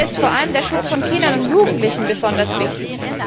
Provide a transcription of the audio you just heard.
Mir ist vor allem der Schutz von Kindern und Jugendlichen besonders wichtig.